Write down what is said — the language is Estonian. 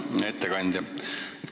Hea ettekandja!